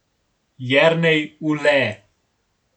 Jernej Ule.